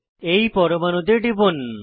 এই পরমাণুতে টিপুন